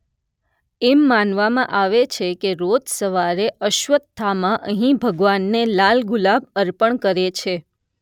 એમ માનવામાં આવે છે કે રોજ સવારે અશ્વત્થામા અહીં ભગવાનને લાલ ગુલાબ અર્પણ કરે છે